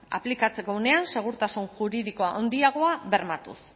aplikatzeko unean segurtasun juridiko handiagoa bermatuz